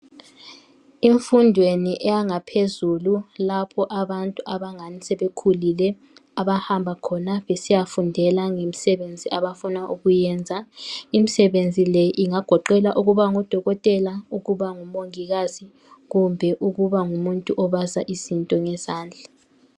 emfundweni yangaphezulu abantu abangani sebekhulile abahamba khona besiyafundela ngemsebenzi abafuna ukuyenza imsebenzi le ingagoqela ukuba ngu dokotela ukuba ngu mongikazi kumbe ukuba ngumuntu obaza izinto ngezandla